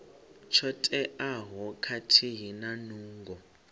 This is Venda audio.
tsho teaho khathihi na nungo